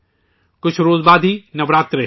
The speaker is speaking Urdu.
کچھ ہی دن بعد ہی نوراترے ہیں